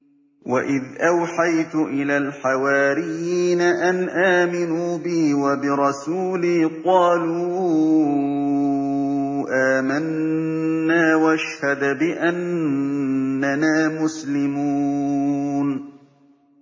وَإِذْ أَوْحَيْتُ إِلَى الْحَوَارِيِّينَ أَنْ آمِنُوا بِي وَبِرَسُولِي قَالُوا آمَنَّا وَاشْهَدْ بِأَنَّنَا مُسْلِمُونَ